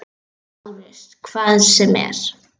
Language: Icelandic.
LÁRUS: Hvað sem er.